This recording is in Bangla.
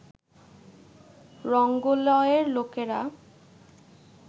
রঙ্গলয়ের লোকেরা